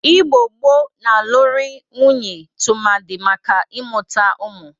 Igbo gboo na-alụrị nwunye tụmadị maka ị mụta ụmụ.